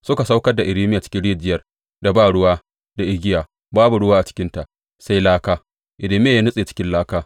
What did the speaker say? Suka saukar da Irmiya cikin rijiyar da ba ruwa da igiya; babu ruwa a cikinta, sai laka, Irmiya ya nutse cikin laka.